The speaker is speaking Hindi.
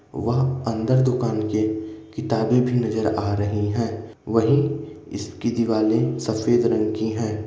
वह अंदर दुकान के किताबें भी नजर आ रही है वही इसकी दीवाले सफेद रंग की है।